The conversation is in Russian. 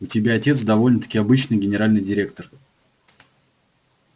у тебя отец довольно-таки обычный генеральный директор